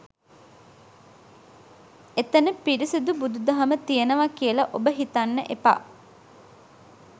එතන පිරිසිදු බුදු දහම තියෙනව කියල ඔබ හිතන්න එපා